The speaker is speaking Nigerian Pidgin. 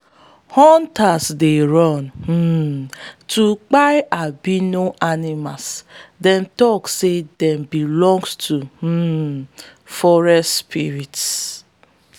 hunters dey run um to kpai albino animals them tok say dem belong to um forest spirits.